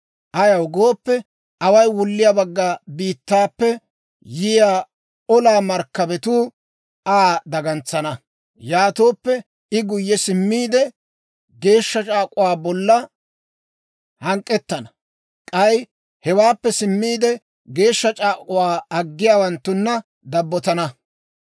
Ayaw gooppe, away wulliyaa bagga biittaappe yiyaa olaa markkabatuu Aa dagantsana. Yaatooppe I guyye simmiide, geeshsha c'aak'uwaa bolla hank'k'ettana. K'ay hewaappe simmiide, geeshsha c'aak'uwaa aggiyaawanttuna dabbotana.